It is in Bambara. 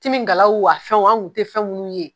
Timigalawo a fɛn wo an kun te fɛn munnu ye